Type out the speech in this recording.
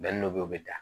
dɔ bɛ yen o bɛ da